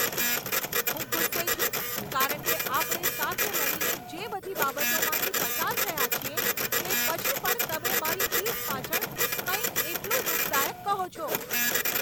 હું ગુસ્સે છું કારણ કે આપણે સાથે મળીને જે બધી બાબતોમાંથી પસાર થયા છીએ તે પછી પણ તમે મારી પીઠ પાછળ કંઈક એટલું દુઃખદાયક કહો છો.